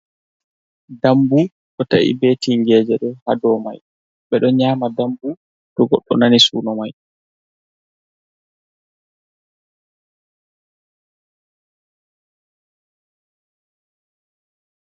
dammbu ɗo ta’i be tingeeje, ɗo haa dow may, ɓe ɗon nyaama dammbu, to goɗɗo nani suuno may.